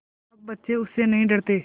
अब बच्चे उससे नहीं डरते